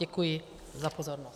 Děkuji za pozornost.